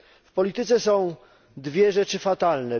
W polityce są dwie rzeczy fatalne.